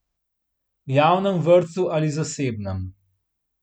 Javnem vrtcu ali zasebnem?